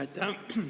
Aitäh!